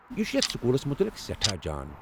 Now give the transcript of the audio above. یہِ چھٗ یتھ سکولس متعلق سیٹھاہ جان ۔